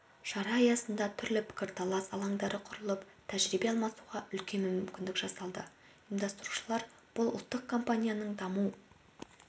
шара аясында түрлі пікірталас алаңдары құрылып тәжірибе алмасуға үлкен мүмкіндік жасалды ұйымдастырушылар бұл ұлттық компанияның даму